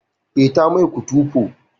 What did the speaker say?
Eh, ta mai kutufo